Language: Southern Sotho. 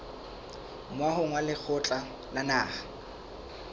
moahong wa lekgotla la naha